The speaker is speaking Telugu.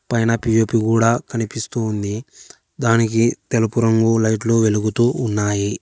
పైన పి_ఓ_పి కూడా కనిపిస్తోంది దానికి తెలుపు రంగు లైట్లు వెలుగుతూ ఉన్నాయి.